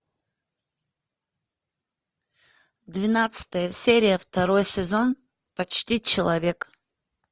двенадцатая серия второй сезон почти человек